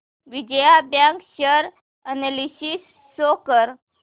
Vijaya bank share analysis show कर